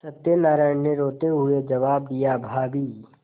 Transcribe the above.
सत्यनाराण ने रोते हुए जवाब दियाभाभी